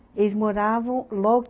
Eles moravam, logo